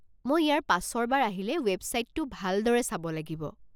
মই ইয়াৰ পাছৰ বাৰ আহিলে ৱেবছাইটটো ভালদৰে চাব লাগিব।